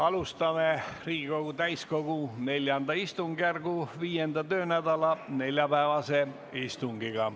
Alustame Riigikogu täiskogu IV istungjärgu 5. töönädala neljapäevast istungit.